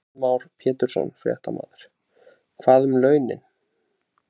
Heimir Már Pétursson, fréttamaður: Hvað um launin?